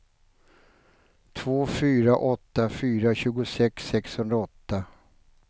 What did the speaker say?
två fyra åtta fyra tjugosex sexhundraåtta